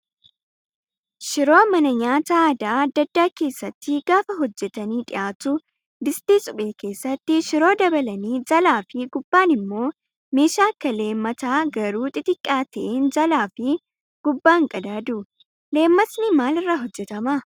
Shiroo mana nyaataa aadaa adda addaa keessatti gaafa hojjatanii dhiyaatu distii suphee keessatti shiroo dabalanii jalaa fi gubbaan immoo meeshaa akka leemataa garuu xixiqqaa ta'een jalaa fi gubbaan qadaadu. Leematni maalirraa hojjatamaa?